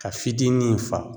Ka fitinin in fa.